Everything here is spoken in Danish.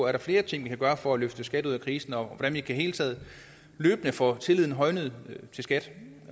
er flere ting vi kan gøre for at løfte skat ud af krisen og hvordan vi i det hele taget løbende kan få tilliden højnet til skat